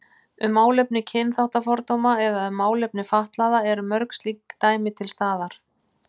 Um málefni kynþáttafordóma eða um málefni fatlaðra eru mörg slík dæmi til staðar.